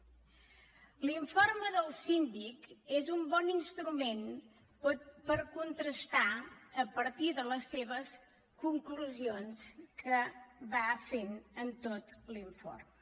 l’informe del síndic és un bon instrument per contrastar a partir de les seves conclusions que va fent en tot l’informe